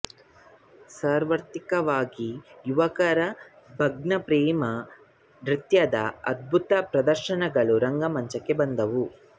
ಸಾರ್ವತ್ರಿಕವಾಗಿ ಯುವಕರ ಭಗ್ನ ಪ್ರೇಮನೃತ್ಯದ ಅದ್ಭುತ ಪ್ರದರ್ಶನಗಳು ರಂಗಮಂಚಕ್ಕೆ ಬಂದವು